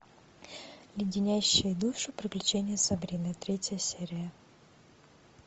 леденящие душу приключения сабрины третья серия